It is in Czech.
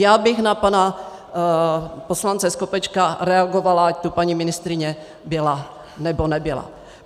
Já bych na pana poslance Skopečka reagovala, ať tu paní ministryně byla, nebo nebyla.